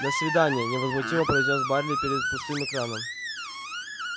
до свидания невозмутимо произнёс байерли перед пустым экраном